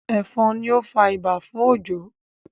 efon ní o fà ibà fún Ojo